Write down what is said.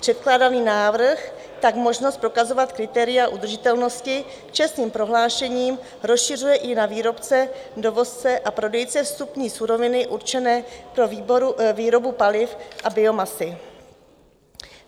Předkládaný návrh tak možnost prokazovat kritéria udržitelnosti čestným prohlášením rozšiřuje i na výrobce, dovozce a prodejce vstupní suroviny určené pro výrobu paliv a biomasy.